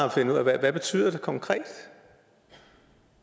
at finde ud af hvad det betyder konkret